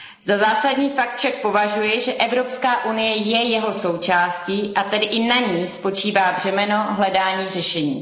Za zásadní fakt však považuji, že Evropská unie je jeho součástí, a tedy i na ní spočívá břemeno hledání řešení.